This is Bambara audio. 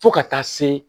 Fo ka taa se